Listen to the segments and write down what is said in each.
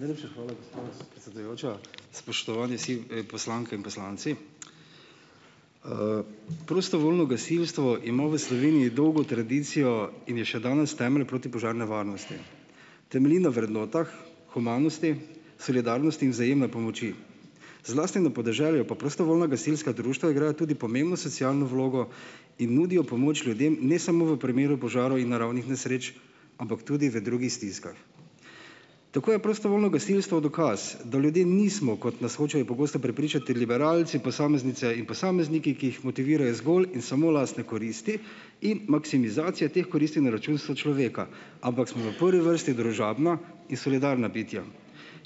Najlepša hvala, gospa predsedujoča. Spoštovani si, poslanke in poslanci! Prostovoljno gasilstvo ima v Sloveniji dolgo tradicijo in je še danes temelj protipožarne varnosti. Temelji na vrednotah, humanosti, solidarnosti in vzajemne pomoči. Zlasti na podeželju pa prostovoljna gasilska društva igrajo tudi pomembno socialno vlogo in nudijo pomoč ljudem ne samo v primeru požarov in naravnih nesreč, ampak tudi v drugih stiskah. Tako je prostovoljno gasilstvo dokaz, da ljudje nismo, kot nas hočejo pogosto prepričati liberalci, posameznice in posamezniki, ki jih motivirajo zgolj in samo lastne koristi in maksimizacija teh koristi na račun sočloveka. Ampak smo v prvi vrsti družabna in solidarna bitja,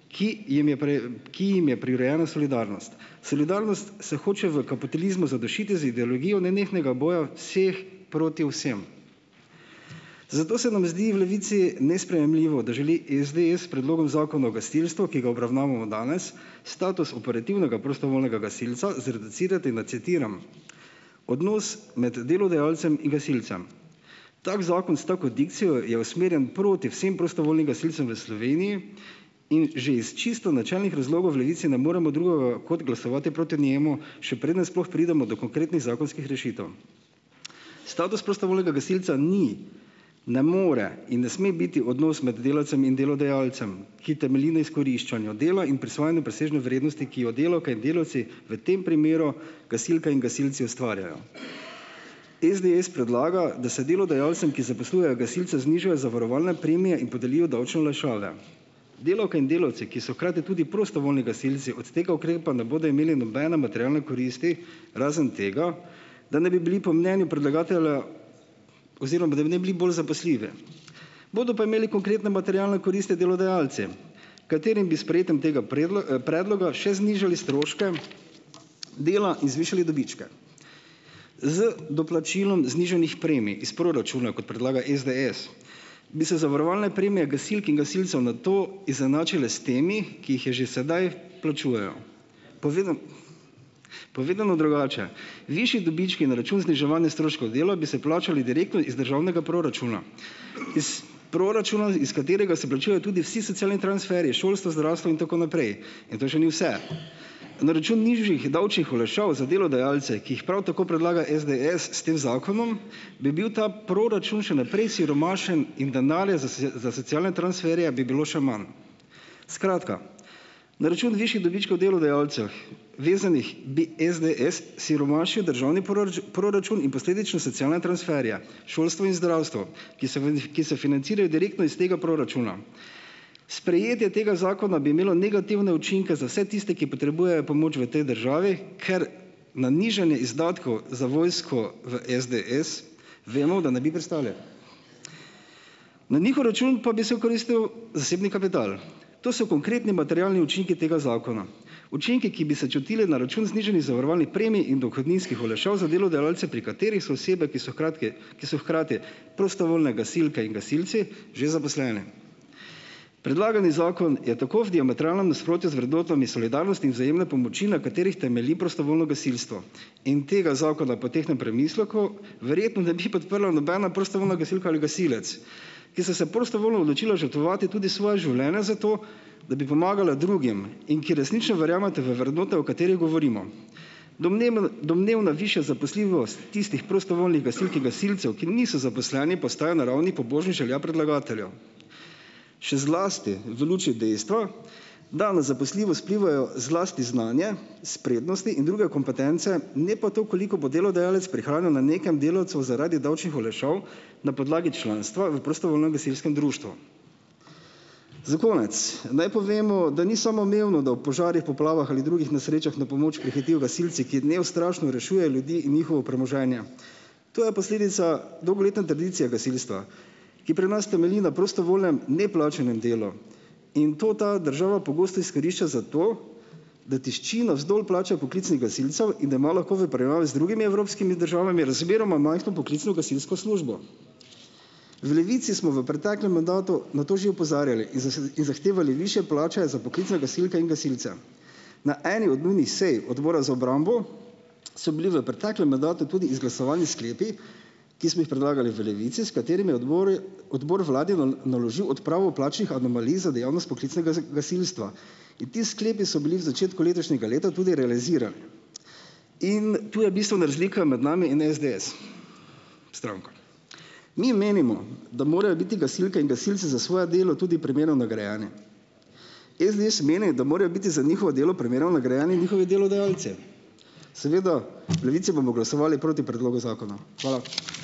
ki jim je ki jim je prirojena solidarnost. Solidarnost se hoče v kapitalizmu zadušiti z ideologijo nenehnega boja vseh proti vsem. Zato se nam zdi v Levici nesprejemljivo, da želi SDS s predlogom zakona o gasilstvu, ki ga obravnavamo danes, status operativnega prostovoljnega gasilca zreducirati na, citiram, "odnos med delodajalcem in gasilcem". Tako zakon s tako dikcijo je usmerjen proti vsem prostovoljnim gasilcem v Sloveniji in že iz čisto načelnih razlogov v Levici ne moremo drugega kot glasovati proti njemu, še preden sploh pridemo do konkretnih zakonskih rešitev. Status prostovoljnega gasilca ni, ne more in ne sme biti odnos med delavcem in delodajalcem, ki temelji na izkoriščanju dela in prisvajanju presežne vrednosti, ki jo delavke in delavci, v tem primeru gasilka in gasilci, ustvarjajo. SDS predlaga, da se delodajalcem, ki zaposlujejo gasilce, znižajo zavarovalne premije in podelijo davčne olajšave. Delavke in delavci, ki so hkrati tudi prostovoljni gasilci, od tega ukrepa ne bodo imeli nobene materialne koristi, razen tega, da naj bi bili po mnenju predlagatelja oziroma da naj bili bolj zaposljivi. Bodo pa imeli konkretno materialne koristi delodajalci, katerim bi s sprejetjem tega predloga še znižali stroške dela in zvišali dobičke. Z doplačilom znižanih premij iz proračuna, kot predlaga SDS, bi se zavarovalne premije gasilk in gasilcev nato izenačile s temi, ki jih je že sedaj plačujejo. Povedano drugače, višji dobički na račun zniževanja stroškov dela bi se plačali direktno iz državnega proračuna. Iz proračuna, iz katerega se plačujejo tudi vsi socialni transferji, šolstvo, zdravstvo in tako naprej. In to še ni vse, na račun nižjih davčnih olajšav za delodajalce, ki jih prav tako predlaga SDS s tem zakonom, bi bil ta proračun še naprej siromašen in denarja za za socialne transferje bi bilo še manj. Skratka, na račun višjih dobičkov delodajalcev vezanih bi SDS siromašil državni proračun in posledično socialne transferje, šolstvo in zdravstvo. Ki se ki se financirajo direktno iz tega proračuna. Sprejetje tega zakona bi imelo negativne učinke za vse tiste, ki potrebujejo pomoč v tej državi, ker na nižanje izdatkov za vojsko v SDS, vemo, da ne bi pristali. Na njihov račun pa bi se okoristil zasebni kapital. To so konkretni materialni učinki tega zakona. Učinki, ki bi se čutili na račun znižanih zavarovalnih premij in dohodninskih olajšav za delodajalce, pri katerih so osebe, ki so hkratke, ki so hkrati prostovoljne gasilke in gasilci, že zaposleni. Predlagani zakon je tako v diametralnem nasprotju z vrednotami solidarnosti in vzajemne pomoči, na katerih temelji prostovoljno gasilstvo. In tega zakona po tehtnem premisleku verjetno ne bi podprla nobena prostovoljna gasilka ali gasilec, ki sta se prostovoljno odločila žrtvovati tudi svoje življenje za to, da bi pomagala drugim. In ki resnično verjameta v vrednote, o katerih govorimo. Domnevna višja zaposljivost tistih prostovoljnih gasilk in gasilcev, ki niso zaposleni, postaja na ravni pobožnih želja predlagateljev. Še zlasti v luči dejstva, da na zaposljivost vplivajo zlasti znanje, spretnosti in druge kompetence, ne pa to, koliko bo delodajalec prihranil na nekem delavcu zaradi davčnih olajšav na podlagi članstva v prostovoljnem gasilskem društvu. Za konec naj povemo, da ni samoumevno, da v požarih, poplavah ali drugih nesrečah na pomoč prihitijo gasilci, ki neustrašno rešujejo ljudi in njihovo premoženje. To je posledica dolgoletne tradicije gasilstva, ki pri nas temelji na prostovoljnem, neplačanem delu. In to ta država pogosto izkorišča za to, da tišči navzdol plače poklicnih gasilcev in da ima lahko v primerjavi z drugimi evropskimi državami razmeroma majhno poklicno gasilsko službo. V Levici smo v preteklem mandatu na to že opozarjali in in zahtevali višje plače za poklicne gasilke in gasilce. Na eni od nujnih sej odbora za obrambo so bili v preteklem mandatu tudi izglasovani sklepi, ki smo jih predlagali v Levici, s katerimi je odbor odbor vladi naložil odpravo plačnih anomalij za dejavnost poklicnega gasilstva. In ti sklepi so bili v začetku letošnjega leta tudi realizirani. In tu je bistvena razlika med nami in SDS stranko. Mi menimo, da morajo biti gasilke in gasilci za svoje delo tudi primerno nagrajeni. SDS meni, da morajo biti za njihovo delo primerno nagrajeni njihovi delodajalci. Seveda - v Levici bomo glasovali proti predlogu zakona. Hvala.